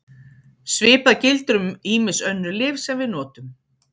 Svipað gildir um ýmis önnur lyf sem við notum.